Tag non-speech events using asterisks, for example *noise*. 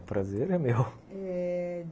O prazer é meu. *laughs*